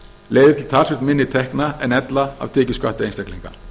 leiðir til talsvert minni tekna en ella af tekjuskatti einstaklinga